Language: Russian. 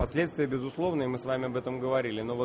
последствия безусловны и мы с вами об этом говорили но вот